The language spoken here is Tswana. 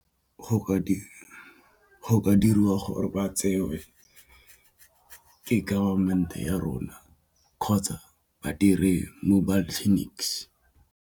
Go ka diriwa gore ba tsewe ke government-e a rona kgotsa ba dire mobile clinics.